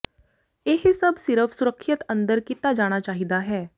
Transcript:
ਇਹ ਸਭ ਸਿਰਫ ਸੁਰੱਖਿਅਤ ਅੰਦਰ ਕੀਤਾ ਜਾਣਾ ਚਾਹੀਦਾ ਹੈ